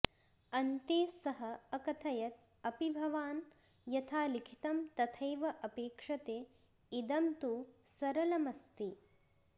अन्ते सः अकथयत् अपि भवान् यथा लिखितं तथैव अपेक्षते इदं तु सरलमस्ति